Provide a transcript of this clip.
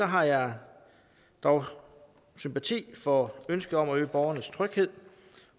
har jeg dog sympati for ønsket om at øge borgernes tryghed